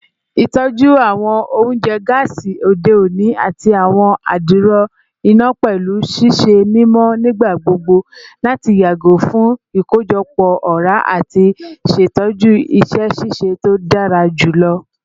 Itọju awọn ounjẹ gaasi ode oni ati awọn adiro ina pẹlu ṣiṣe mimọ nigbagbogbo lati yago fun ikojọpọ ọra ati ṣetọju iṣẹ ṣiṣe to dara julọ